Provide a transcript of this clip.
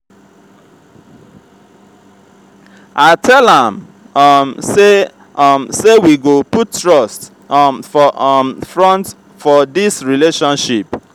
i tell am um sey um sey we go put trust um for um front for dis relationship.